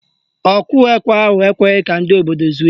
Ọkụ ekwe ahụ ekweghị ka ndị obodo zuo ike